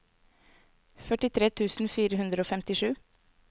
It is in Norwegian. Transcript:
førtitre tusen fire hundre og femtisju